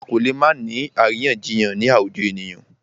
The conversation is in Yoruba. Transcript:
A kò lè má ni àríyànjiyàn ni àwùjọ ènìyàn.